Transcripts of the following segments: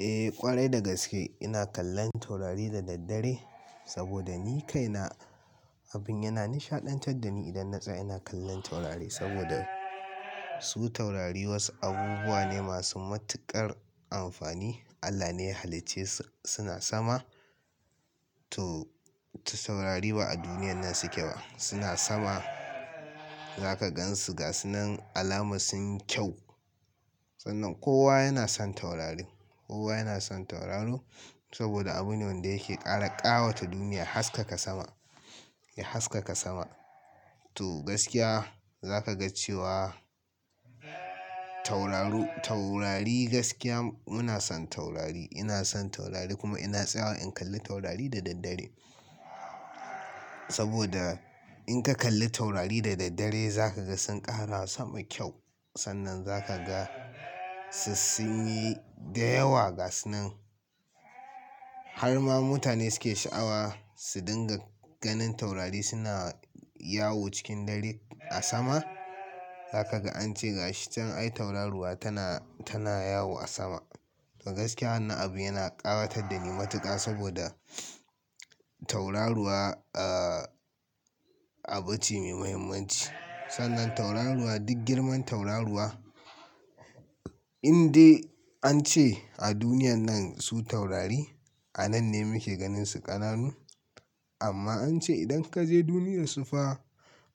Eh ƙwarai dagaske ina kallon taurari da daddare saboda ni kaina abin yana nishaɗantar da ni idan na tsaya ina kallon taurari saboda su taurari wasu abubuwa ne masu matuƙar amfani. Allah ne ya hallice su suna sama to, ta taurari ba a duniyan nan suke ba. Suna sama za ka gan su gas nan alama sun kyau. Sannan kowa yana son taurari. Kowa yana son tauraro saboda abune wanda yake kara ƙawata duniya haskaka sama, ya haskaka sama. To gaskiya za ka ga cewa tauraru-- taurari gaskiya muna son taurari. Ina son taurari kuma ina tsaya in kalli taurari da daddare. Saboda in ka kalli taurari da daddare za ka ga sun ƙara sama kyau. Sannan za ka ga su sun yi da yawa gas nan. Har ma mutane suke sha'awa su dinga ganin taurari suna yawo cikin dare a sama. Zaka ga an ce ga shi can ai tauraruwa tana, tana yawo a sama. To gaskiya wannan abu yana ƙawatar da ni matuƙa saboda tauraruwa,, abu ce mai muhimmanci. Sannan tauraruwa duk girman tauraruwa in dai an ce a duniyan nan su taurari a nan ne muke ganin su ƙananu. Amma an ce idan ka je duniyarsu fa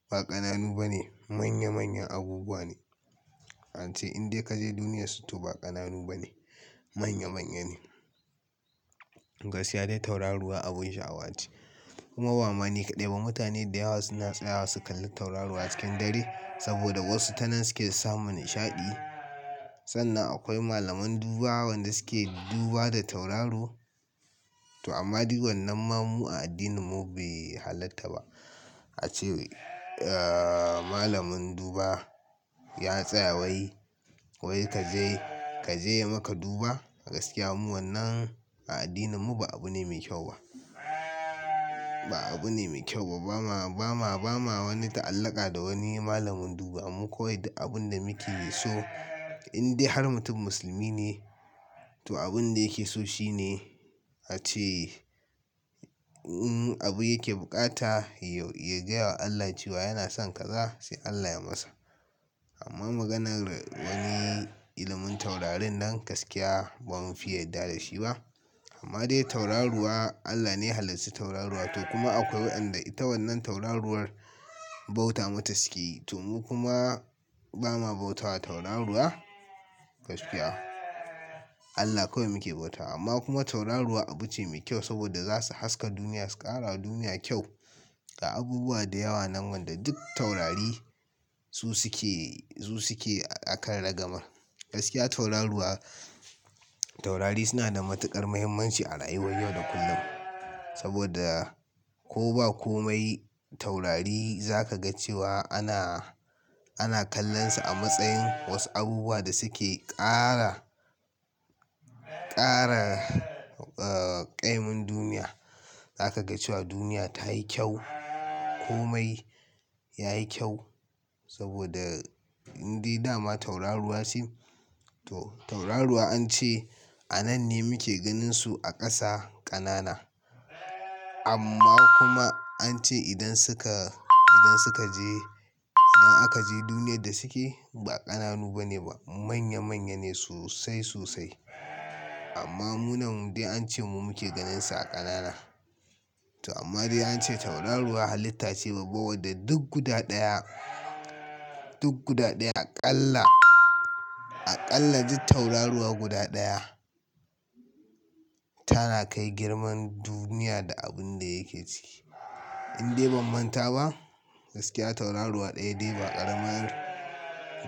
ba ƙananu bane, manya manyan abubuwa ne. An ce in dai ka je duniyarsu to ba ƙananu bane, manya manya ne. Gaskiya dai tauraruwa abin sha'awa ce kuma ba ma ni kaɗai ba mutane da yawa suna tsayawa su kalli tauraruwa cikin dare saboda wasu ta nan suke samun nishaɗi. Sannan akwai malaman duba wadanda suke duba da tauraro. To amma duk wannan ma mu a addininmu bai halatta ba. A ce, malamin duba ya tsaya wai, wai ka je, ka je ya maka duba. Gaskiya mu wannan a addininmu ba abu ne mai kyau ba. Ba abu ne mai kyau ba. Ba ma, ba ma, ba ma wani ta'allaka da wani malamin duba. Mu kawai abun da muke so in dai har mutum musulmi ne to abin da yake so shine a ce in abu yake bukata ya, ya gaya wa Allah cewa yana son kaza sai Allah ya masa. Amma maganar wani ilimin taurarin nan gaskiya ba mu fiya yarda da shi ba. Amma dai tauraruwa Allah ne ya hallici tauraruwa to kuma akwai waɗanda ita wannan tauraruwar bauta mata suke yi. To mu kuma ba ma bautawa tauraruwa gaskiya. Allah kawai muke bauta amma kuma tauraruwa abu ce mai kyau saboda za su haska duniya, su ƙara duniya kyau ga abubuwa da yawa nan wanda duk taurari su suke, su suke aƙar ragamar. Gaskiya tauraruwa, taurari suna da matuƙar muhimmanci a rayuwar yau da kullum saboda ko ba komai taurari za ka ga cewa ana, ana kallon su a matsayin wasu abubuwa da suke ƙara, ƙara, ah, ƙaimin duniya. Za ka ga cewa duniya ta yi kyau. Komai yayi kyau saboda in dai dama tauraruwa su ne to tauraruwa an ce a nan ne muke ganin su a ƙasa ƙanana. Amma kuma an ce idan suka, idan suka je, idan aka je duniyar da suke ba ƙananu bane ba manya manya ne sosai sosai. Amma muna wanda an ce mu muke ganin su a ƙanana. To amma dai an ce tauraruwa halitta ce babba wadda duk guda ɗaya, duk guda ɗaya aƙalla, aƙalla duk tauraruwa guda ɗaya tana kai girman duniya da abun da yake ciki. In dai ba manta ba gaskiya tauraruwa ɗaya dai ba ƙaramar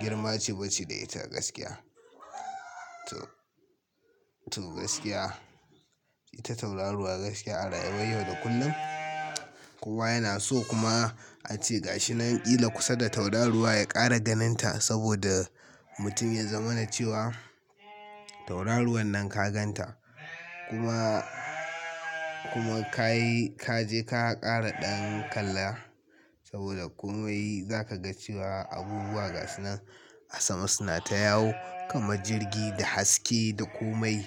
girma ce ba ce da ita gaskiya. To, to gaskiya ita tauraruwa gaskiya a rayuwar yau da kullum kowa yana so kuma an ce ga shi nan ƙila kusa da tauraruwa ya ƙara ganin ta saboda mutum ya zama na cewa tauraruwan nan ka gan ta kuma, kuma ka yi, ka je ka ƙara ɗan kala saboda komai za ka ga cewa abubuwa gas nan a sama suna ta yawo kama jirgi da haske da komai.